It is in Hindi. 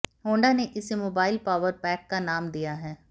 होंडा ने इसे मोबाइल पावर पैक का नाम दिया है